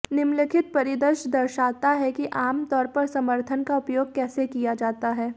निम्नलिखित परिदृश्य दर्शाता है कि आम तौर पर समर्थन का उपयोग कैसे किया जाता है